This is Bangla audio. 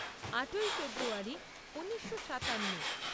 আটই ফেব্রুয়ারী ঊনিশো সাতান্ন